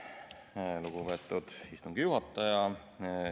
Aitäh, lugupeetud istungi juhataja!